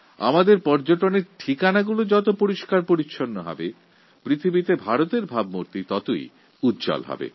আমাদের পর্যটনকেন্দ্রগুলি যত পরিষ্কারপরিচ্ছন্ন থাকবে বিশ্বের দরবারে ভারতের ছবি তত উজ্জ্বল হবে